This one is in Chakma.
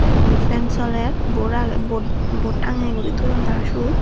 te indi fan soler bod agey bod bod tangeye guri toyon tara siyot.